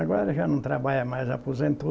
Agora já não trabalha mais, aposentou.